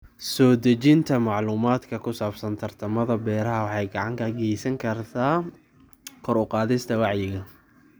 Soo dhejinta macluumaadka ku saabsan tartamada beeraha waxay gacan ka geysan kartaa kor u qaadista wacyiga.